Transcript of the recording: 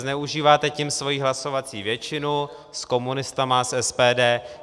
Zneužíváte tím svoji hlasovací většinu - s komunisty, s SPD.